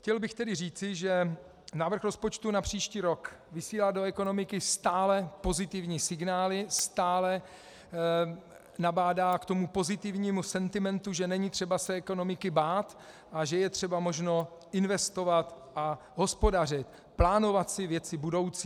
Chtěl bych tedy říci, že návrh rozpočtu na příští rok vysílá do ekonomiky stále pozitivní signály, stále nabádá k tomu pozitivnímu sentimentu, že není třeba se ekonomiky bát a že je třeba možno investovat a hospodařit, plánovat si věci budoucí.